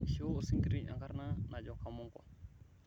ishoo osinkiri ekarna najo kamongo